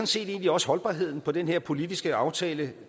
set egentlig også holdbarheden på den her politiske aftale